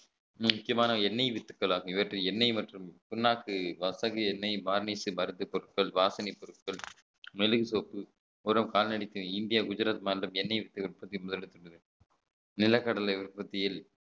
முக்கியமான எண்ணெய் வித்துக்கல் ஆகும் இவற்றில் எண்ணெய் மற்றும் புண்ணாக்கு வர்த்தக எண்ணெய் varnish மருத்து பொருட்கள் வாசனை பொருட்கள் மில்லி சோப் வெறும் கால்நடைக்கும் இந்தியா குஜராத் மாநிலம் எண்ணெய் வித்து உற்பத்தி முதலிடத்துள்ளது நிலக்கடலை உற்பத்தியில்